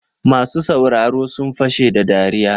Masu sauraro sun fashe da dariya.